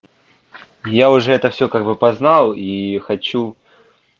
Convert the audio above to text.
я уже это всё как бы познал и хочу